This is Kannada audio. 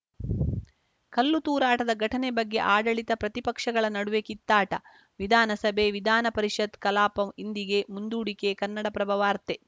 ಕಲ್ಲು ತೂರಾಟದ ಘಟನೆ ಬಗ್ಗೆ ಆಡಳಿತಪ್ರತಿಪಕ್ಷಗಳ ನಡುವೆ ಕಿತ್ತಾಟ ವಿಧಾನಸಭೆ ವಿಧಾನಪರಿಷತ್‌ ಕಲಾಪ ಇಂದಿಗೆ ಮುಂದೂಡಿಕೆ ಕನ್ನಡಪ್ರಭ ವಾರ್ತೆ